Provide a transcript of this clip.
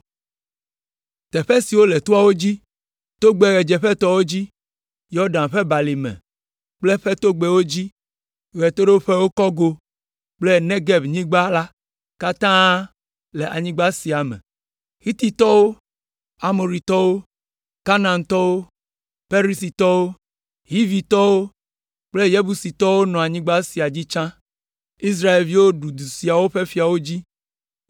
Teƒe siwo le toawo dzi, togbɛ ɣedzeƒetɔwo dzi, Yɔdan ƒe balime kple eƒe togbɛwo dzi, ɣedzeƒetowo kɔgo kple Negebnyigba la katã le anyigba sia me. Hititɔwo, Amoritɔwo, Kanaantɔwo, Perizitɔwo, Hivitɔwo kple Yebusitɔwo nɔ anyigba sia dzi tsã. Israelviwo ɖu du siawo ƒe fiawo dzi: